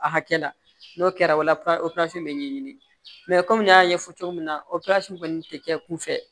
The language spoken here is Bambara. A hakɛ la n'o kɛra o la operasi bɛ ɲɛɲini mɛ komi n y'a ɲɛfɔ cogo min na operazi kɔni tɛ kɛ kun fɛ